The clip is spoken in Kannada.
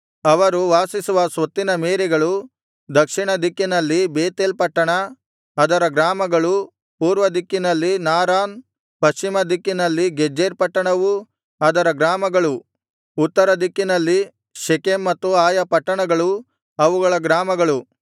ಅವರು ವಾಸಿಸುವ ಸ್ವತ್ತಿನ ಮೇರೆಗಳು ದಕ್ಷಿಣ ದಿಕ್ಕಿನಲ್ಲಿ ಬೇತೇಲ್ ಪಟ್ಟಣ ಅದರ ಗ್ರಾಮಗಳೂ ಪೂರ್ವ ದಿಕ್ಕಿನಲ್ಲಿ ನಾರಾನ್ ಪಶ್ಚಿಮ ದಿಕ್ಕಿನಲ್ಲಿ ಗೆಜೆರ್ ಪಟ್ಟಣವೂ ಅದರ ಗ್ರಾಮಗಳೂ ಉತ್ತರ ದಿಕ್ಕಿನಲ್ಲಿ ಶೆಕೆಮ್ ಮತ್ತು ಆಯಾ ಪಟ್ಟಣಗಳೂ ಅವುಗಳ ಗ್ರಾಮಗಳು